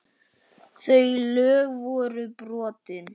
Þau lög voru brotin.